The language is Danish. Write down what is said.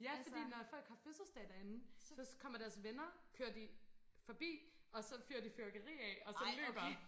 ja fordi når folk har fødselsdag derinde så kommer deres venner kører de forbi og så fyrer de fyrværkeri af og så løber